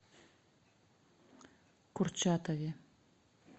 курчатове